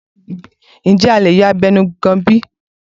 Ǹjẹ́ a lè yọ abẹnugan bi?